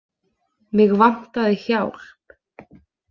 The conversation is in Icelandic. Mig vantaði hjálp.